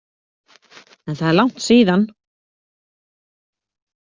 En það er langt síðan.